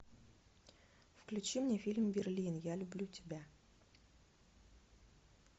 включи мне фильм берлин я люблю тебя